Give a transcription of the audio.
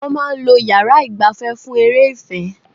Wọ́n máa ń lo yàrá ìgbafẹ́ fún eré ìfẹ́.